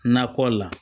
Nakɔ la